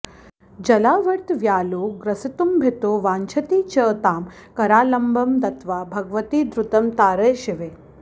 जलावर्त व्यालो ग्रसितुमभितो वाञ्छति च तां करालम्बं दत्वा भगवति द्रुतं तारय शिवे